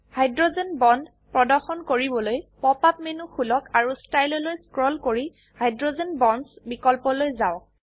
hydrogen bond প্ৰদৰ্শন কৰিবলৈ pop up menu খুলক আৰু ষ্টাইল লৈ স্ক্ৰোল কৰি হাইড্ৰোজেন বণ্ডছ বিকল্পলৈ যাওক